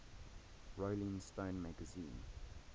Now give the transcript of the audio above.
rolling stone magazine